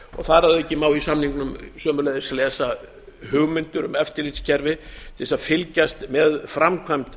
þar að auki má í samningnum sömuleiðis lesa hugmyndir um eftirlitskerfi til að fylgjast með framkvæmd